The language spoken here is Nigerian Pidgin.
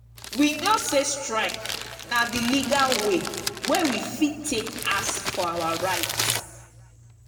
we know sey strike na di legal wey we fit take ask for our right.